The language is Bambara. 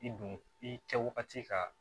I don i kɛwagati ka